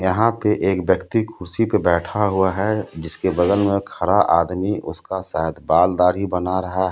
यहाँ पे एक व्यक्ति कुर्सी पे बैठा हुआ है जीसके बगल मे खरा आदमी उसका सायद बाल दाढ़ी बना रहा है.